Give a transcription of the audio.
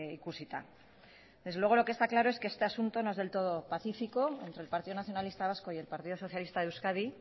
ikusita desde luego lo que está claro es que este asunto no es del todo pacífico entre el partido nacionalista vasco y el partido socialista de euskadi